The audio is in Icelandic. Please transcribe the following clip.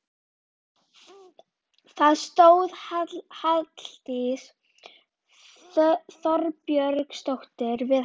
Það stóð Halldís Þorbjörnsdóttir við hana.